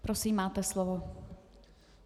Prosím, máte slovo.